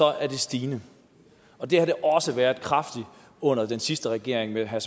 er det stigende og det har det også været kraftigt under den sidste regering med herre